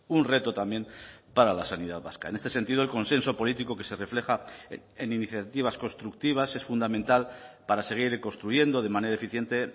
un reto también para la sanidad vasca en este sentido el consenso político que se refleja en iniciativas constructivas es fundamental para seguir construyendo de manera eficiente